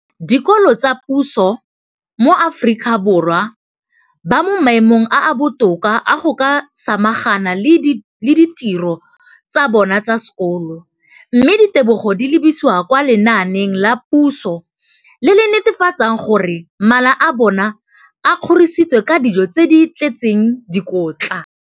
Dikolo tsa puso mo Aforika Borwa ba mo maemong a a botoka a go ka samagana le ditiro tsa bona tsa sekolo, mme ditebogo di lebisiwa kwa lenaaneng la puso le le netefatsang gore mala a bona a kgorisitswe ka dijo tse di tletseng dikotla.